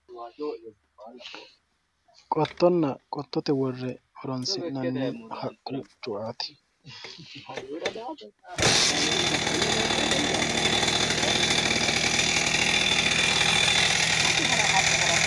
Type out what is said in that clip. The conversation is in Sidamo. qottonna qottote worre loonsanni horonsi'nanni haqqu cuaati.